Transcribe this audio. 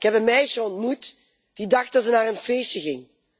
Ik heb een meisje ontmoet die dacht dat ze naar een feestje ging.